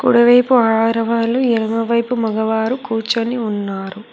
కుడివైపు ఆరవళ్లు ఎడమ వైపు మగవారు కూర్చొని ఉన్నారు.